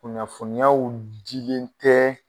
Kunnafoniyaw jigin tɛ